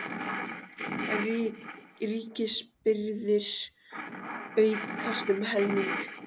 Ríkisábyrgðir aukast um helming